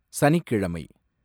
சனிக்கிழமை